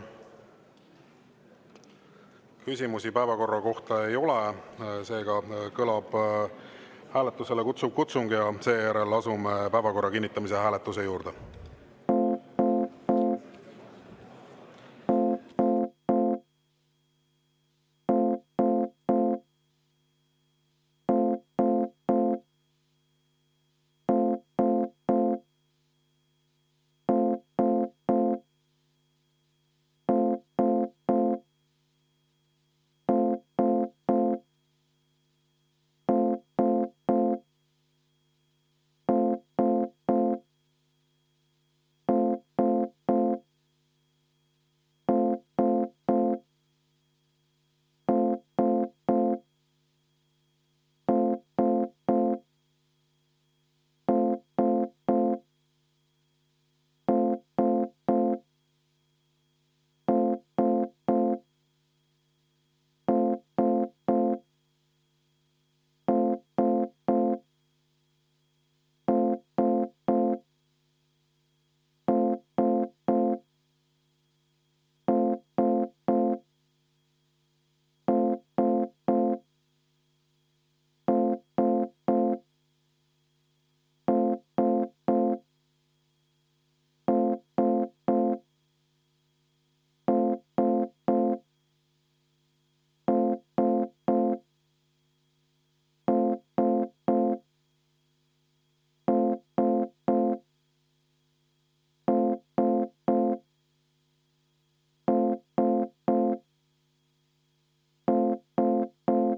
Küsimusi päevakorra kohta ei ole, seega kõlab hääletusele kutsuv kutsung ja seejärel asume päevakorra kinnitamise hääletuse juurde.